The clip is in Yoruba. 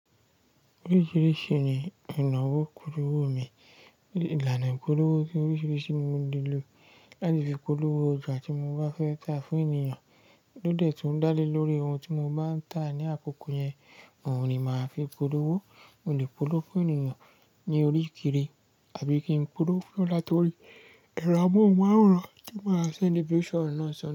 Oríṣiríṣi ni ìnáwó polówó mi, ìlànà ìpolówó tí oríṣiríṣi mo lè lò láti fi polówó òjà tí mo bá fẹ́ tà fún ènìyàn. Lódẹ́ tún dá lé lórí ohun tí mo bá ń tà ní àkókò yẹn, òun ni màá fi polówó. Mo lè polówó fún ènìyàn ní orí kiri àbí kí n polówó láti orí ẹ̀rọ amóhùnmáwòrán tí màá ṣe ní bishop náà sọnù.